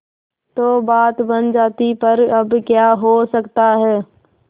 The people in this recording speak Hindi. तो बात बन जाती पर अब क्या हो सकता है